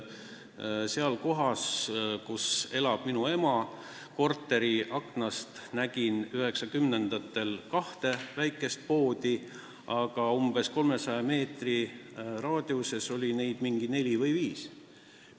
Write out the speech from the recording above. Mina nägin kohas, kus elab minu ema, tema korteri aknast 1990-ndatel kahte väikest poodi, aga umbes 300 meetri raadiuses oli neid neli või viis.